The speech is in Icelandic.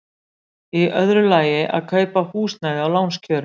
Í öðru lagi að kaupa húsnæði á lánskjörum.